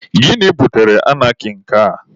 Gịnị butere anarkị nke a?